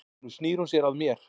Nú snýr hún sér að mér.